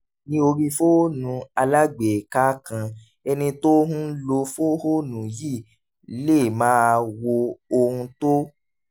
ní orí fóònù alágbèéká kan ẹni tó ń lo fóònù yìí lè máa wo ohun tó